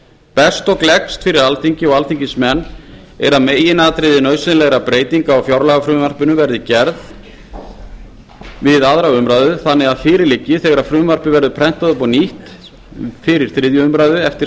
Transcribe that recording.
best og gleggst fyrir alþingi og alþingismenn er að meginatriði nauðsynlegra breytinga á fjárlagafrumvarpinu verði gerð ljós við aðra umræðu þannig að fyrir liggi þegar frumvarpið verður prentað upp á nýtt fyrir þriðju umræðu eftir